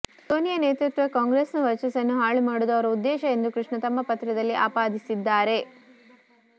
ಸೋನಿಯಾ ನೇತೃತ್ವದ ಕಾಂಗ್ರೆಸ್ನ ವರ್ಚಸ್ಸನ್ನು ಹಾಳು ಮಾಡುವುದು ಅವರ ಉದ್ದೇಶ ಎಂದು ಕೃಷ್ಣ ತಮ್ಮ ಪತ್ರದಲ್ಲಿ ಆಪಾದಿಸಿದ್ದಾರೆ